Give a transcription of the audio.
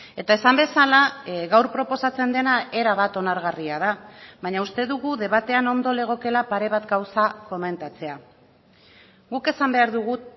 eta esan bezala gaur proposatzen dena erabat onargarria da baina uste dugu debatean ondo legokeela pare bat gauza komentatzea guk esan behar dugu